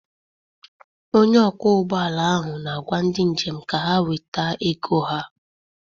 Onye ọkwọ ụgbọala ahụ na-agwa ndị njem ka ha weta ego ha.